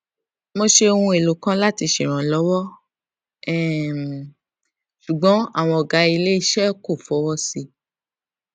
mo ṣe ohun èlò kan láti ṣe ìrànlọwọ um ṣùgbọn àwọn ọgá ilé iṣẹ kò fọwọ sí i